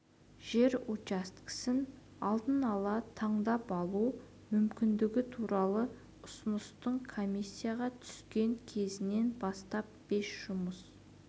жер учаскесін алдын ала таңдап алу мүмкіндігі туралы ұсыныстың комиссияға түскен кезінен бастап бес жұмыс